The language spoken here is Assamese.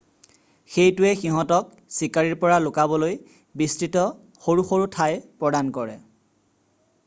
এইটোৱে সিহঁতক চিকাৰীৰ পৰা লুকাবলৈ বিস্তৃত সৰু সৰু ঠাই প্ৰদান কৰে